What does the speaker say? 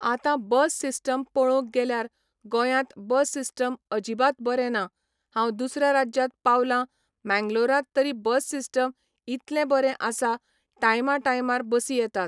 आतां bus system पळोवंक गेल्यार गोंयांत बस सिस्टम अजिबात बरें ना हांव दुसऱ्या राज्यांत पावलां मँगलोरांत तरी बस सिस्टम इतलें बरें आसा टायमा टायमार बसी येतात.